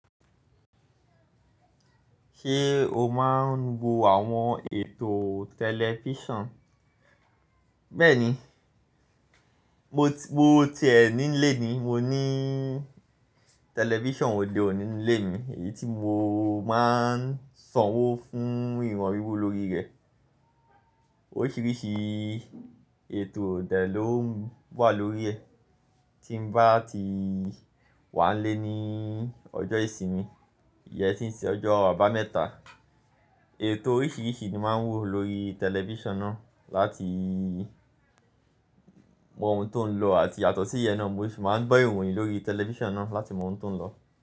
Ṣé o máa ń wo àwọn ètò tẹlifíṣàn? Bẹ́ẹ̀ni, mo ti, mo tiẹ̀ nílé ni. Mo ní tẹlifíṣàn òde òní nílé mi èyí tí mo máa ń sanwó fún iran wiwo lórí rẹ̀. Oríṣìíríṣìí ètò de ló wà lórí ẹ̀. Tí mo bá ti wà nílé ní ọjọ́ ìsinmi, ìyẹn tí ń ṣe ọjọ́ àbámẹ́ta, ètò oríṣìíríṣìí ni máa ń wò lórí tẹlifíṣàn náà láti mọ ohun tó ń lọ àti yàtọ̀ sí ìyẹn náà, mo sì máa ń gbọ́ ìròyìn lórí tẹlifíṣàn náà láti mọ ohun tó ń lọ.